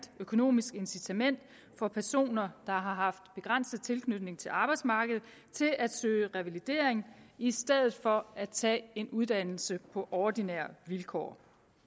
økonomisk incitament for personer der har haft begrænset tilknytning til arbejdsmarkedet til at søge revalidering i stedet for at tage en uddannelse på ordinære vilkår